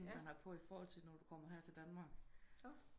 Det man har på i forhold til når du kommer til Danmark